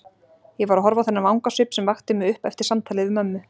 Ég var að horfa á þennan vangasvip sem vakti mig upp eftir samtalið við mömmu.